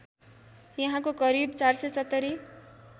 यहाँको करिब ४७०